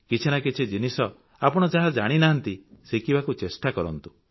କିଛି ନା କିଛି ଜିନିଷ ଆପଣ ଯାହା ଜାଣିନାହାନ୍ତି ଶିଖିବାକୁ ଚେଷ୍ଟା କରନ୍ତୁ